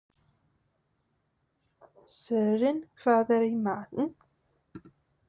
Sören, hvað er í matinn?